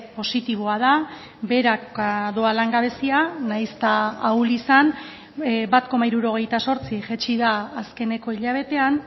positiboa da beheraka doa langabezia nahiz eta ahul izan bat koma hirurogeita zortzi jaitsi da azkeneko hilabetean